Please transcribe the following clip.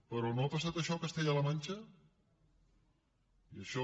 però no ha passat això a castella la manxa i això